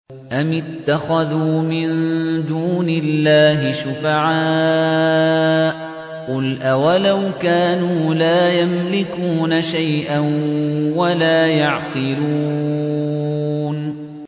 أَمِ اتَّخَذُوا مِن دُونِ اللَّهِ شُفَعَاءَ ۚ قُلْ أَوَلَوْ كَانُوا لَا يَمْلِكُونَ شَيْئًا وَلَا يَعْقِلُونَ